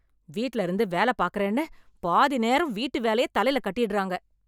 வீட்ல இருந்து வேலப் பாக்கறேன்னு பாதி நேரம் வீட்டு வேலையத் தலைல கட்டிடுறாங்க.